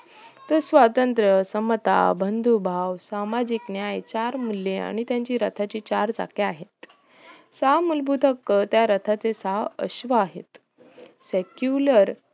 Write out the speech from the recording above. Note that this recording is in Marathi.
ते स्वत्रंत समता बंधू भाव सामाजिक न्याय चार मूल्ये आणि रताची चार चाके आहे सहा मुलभूत हक्क त्या रताचे सहा अश्व्ह आहेत secular